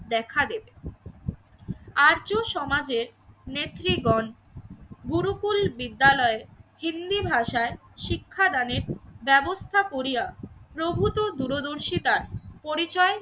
দেখা দেবে। আর্য সমাজের নেত্রীগণ গুরুকুল বিদ্যালয়ে হিন্দি ভাষায় শিক্ষাদানের ব্যবস্থা করিয়া প্রভূত দূরদর্শিতায় পরিচয়